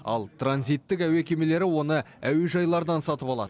ал транзиттік әуе кемелері оны әуежайлардан сатып алады